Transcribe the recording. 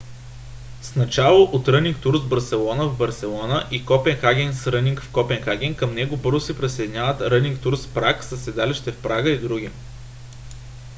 с начало от running tours barcelona в барселона и copenhagen's running в копенхаген към него бързо се присъединяват running tours prague със седалище в прага и други